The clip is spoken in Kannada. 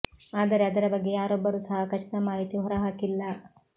ಆದರೆ ಅದರ ಬಗ್ಗೆ ಯಾರೊಬ್ಬರೂ ಸಹ ಖಚಿತ ಮಾಹಿತಿ ಹೊರ ಹಾಕಿಲ್ಲ